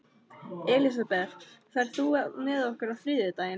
Elisabeth, ferð þú með okkur á þriðjudaginn?